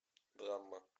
драма